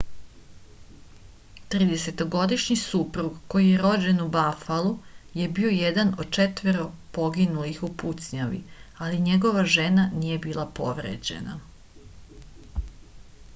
30- годишњи супруг који је рођен у бафалу је био један од четворо погинулих у пуцњави али његова жена није била повређена